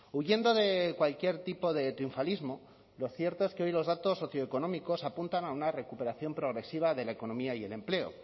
huyendo de cualquier tipo de triunfalismo lo cierto es que hoy los datos socioeconómicos apuntan a una recuperación progresiva de la economía y el empleo